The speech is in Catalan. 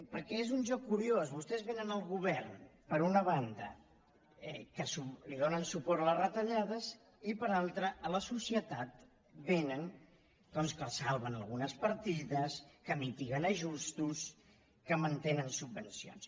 perquè és un joc curiós vostès venen al govern per una banda que donen suport a les retallades i per l’altra a la societat li venen doncs que els salven algunes partides que mitiguen ajustos que mantenen subvencions